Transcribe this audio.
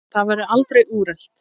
Það verður aldrei úrelt.